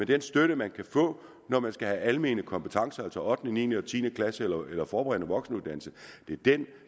den støtte man kan få når man skal have almene kompetencer altså 8 niende og tiende klasse eller eller forberedende voksenuddannelse